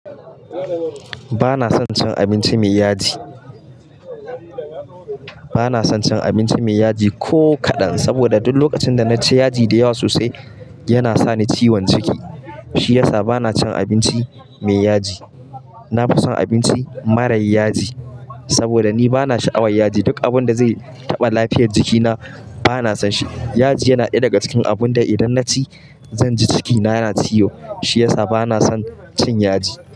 Ba na son cin abinci mai yaji. Ba na son cin abinci mai yaji ko kaɗan, saboda duk lokacin da na ci yaji da yawa sosai, yana sa ni ciwon ciki. Shi ya sa ba na cin abinci mai yaji. Na fi son abinci mara yaji, saboda ni ba na sha'awar yaji. Duk abunda zai taɓa lafiyar jikina ba na son shi. Yaji yana ɗaya daga cikin abunda idan na ci, zan ji cikina yana ciwo. Shi ya sa ba na son cin yaji.